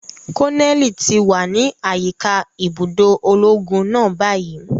Koneli ti wa ni ayika ibudo ologun náà bayi.